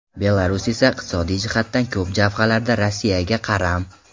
Belarus esa iqtisodiy jihatdan ko‘p jabhalarda Rossiyaga qaram.